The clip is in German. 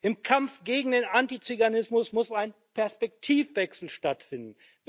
Im Kampf gegen den Antizyganismus muss ein Perspektivenwechsel stattfinden.